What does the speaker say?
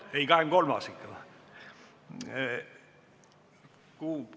Ei, ikka 23.